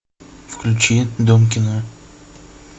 включи дом кино